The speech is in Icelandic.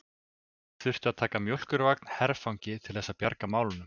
Þurftu að taka mjólkurvagn herfangi til þess að bjarga málunum!